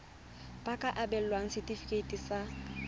ba ka abelwa setefikeiti sa